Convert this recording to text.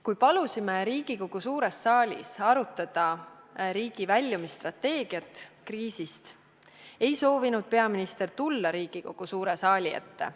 Kui palusime Riigikogu suures saalis arutada riigi kriisist väljumise strateegiat, ei soovinud peaminister tulla Riigikogu suure saali ette.